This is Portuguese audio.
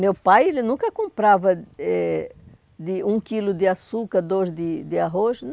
Meu pai ele nunca comprava eh de um quilo de açúcar, dois de de arroz.